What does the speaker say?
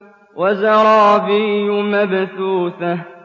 وَزَرَابِيُّ مَبْثُوثَةٌ